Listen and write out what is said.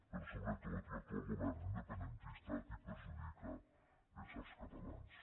però sobretot l’actual govern independentista a qui perjudica és als catalans